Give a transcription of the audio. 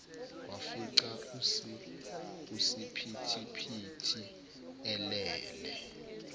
wafica usiphithiphithi elele